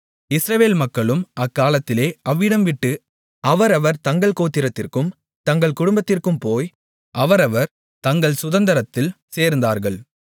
இஸ்ரவேல் மக்களும் அக்காலத்திலே அவ்விடம் விட்டு அவரவர் தங்கள் கோத்திரத்திற்கும் தங்கள் குடும்பத்திற்கும் போய் அவரவர் தங்கள் சுதந்தரத்தில் சேர்ந்தார்கள்